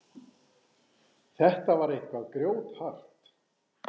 Þetta var eitthvað grjóthart.